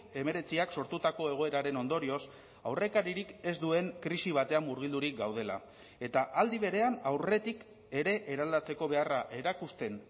hemeretziak sortutako egoeraren ondorioz aurrekaririk ez duen krisi batean murgildurik gaudela eta aldi berean aurretik ere eraldatzeko beharra erakusten